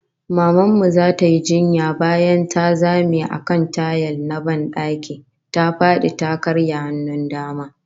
Maman mu zata yi jinya, bayan ta zame a kan tayil na ban daki, ta fadi ta karya hannun dama